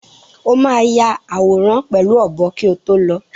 O máa ya àwòrán pẹ̀lú ọ̀bọ kí o tó lọ.